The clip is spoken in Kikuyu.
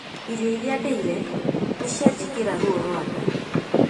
Irio iria ndeĩre nĩ cianjĩkĩira ruo rwa nda